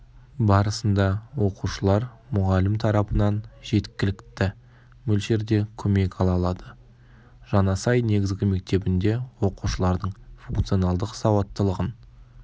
барысында оқушылар мұғалім тарапынан жеткіліктті мөлшерде көмек ала алады жаңасай негізгі мектебінде оқушылардың функционалдық сауаттылығын